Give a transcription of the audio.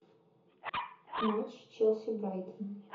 матч челси брайтон